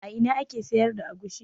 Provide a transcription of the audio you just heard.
A ina ake sayar da agushi?